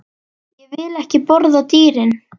Ég vil ekki borða dýrin.